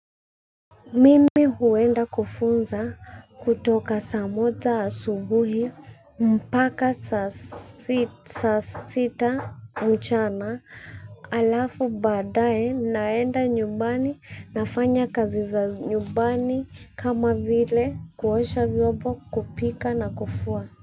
Mimi huenda kufunza kutoka saa moja asubuhi mpaka saa sita mchana alafu baadae naenda nyumbani nafanya kazi za nyumbani kama vile kuosha vyobo kupika na kufua.